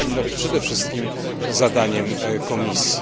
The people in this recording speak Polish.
Powinno to być przede wszystkim zadaniem Komisji.